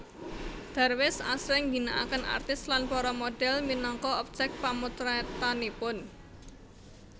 Darwis asring ngginakaken artis lan para modhel minangka objek pamotretanipun